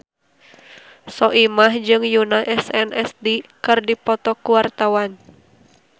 Soimah jeung Yoona SNSD keur dipoto ku wartawan